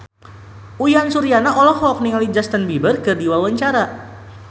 Uyan Suryana olohok ningali Justin Beiber keur diwawancara